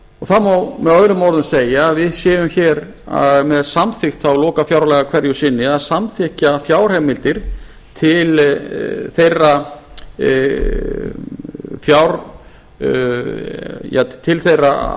það má með öðrum orðum segja að við séum hér með samþykkt þá lokafjárlaga hverju sinni að samþykkja fjárheimildir til þeirra